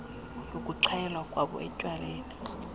yokuxhayelwa kwabo etywaleni